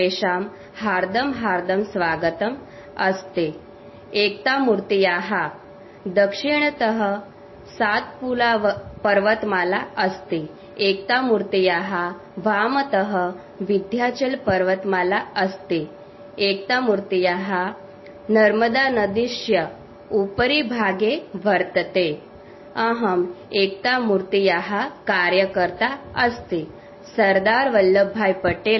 sound clip